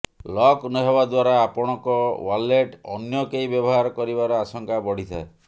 lock ନହେବା ଦ୍ୱାରା ଆପଣଙ୍କ ୱାଲେଟ୍ ଅନ୍ୟ କେହି ବ୍ୟବହାର କରିବାର ଆଶଙ୍କା ବଢ଼ିଥାଏ